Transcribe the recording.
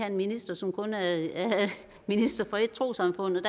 en minister som kun er minister for ét trossamfund